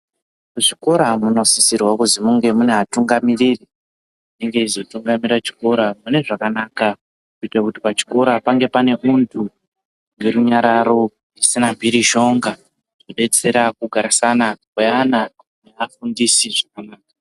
Muzvikora munosisirwe kuzi munge mune atungamiriri ,anenge eizotungamira chikora mune zvakanaka, kuite kuti pachikora pange pane untu nerunyararo, zvisina mphirizhonga, kudetsera kugarisana kweana neafundisi zvakanaka.